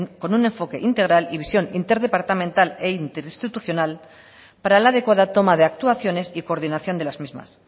con un enfoque integral y visión interdepartamental e interinstitucional para la adecuada toma de actuaciones y coordinación de las mismas